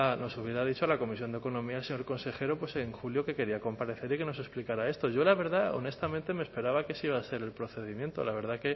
nos hubiera dicho a la comisión de economía el señor consejero en julio que quería comparecer y que nos explicara esto yo la verdad honestamente me esperaba que ese iba a ser el procedimiento la verdad